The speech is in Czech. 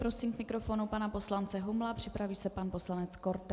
Prosím k mikrofonu pana poslance Humla, připraví se pan poslanec Korte.